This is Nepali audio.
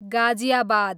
गाजियाबाद